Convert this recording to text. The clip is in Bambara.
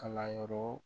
Kalanyɔrɔ